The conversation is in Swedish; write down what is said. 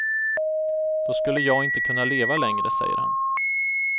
Då skulle jag inte kunna leva längre, säger han.